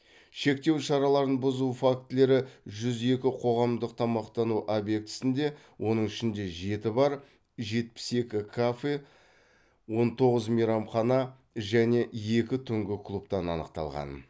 шектеу шараларын бұзу фактілері жүз екі қоғамдық тамақтану объектісінде оның ішінде жеті бар жетпіс екі кафе он тоғыз мейрамхана және екі түнгі клубтан анықталған